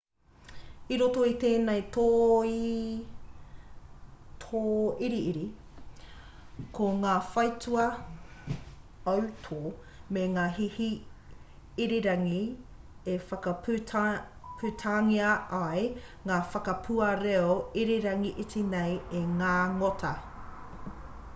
i roto i tēnei tōiriiri ko ngā whaitua autō me ngā hihi irirangi e whakaputangia ai ngā whakapua reo irirangi iti nei e ngā ngota